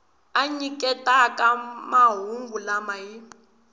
a nyiketaka mahungu lama hi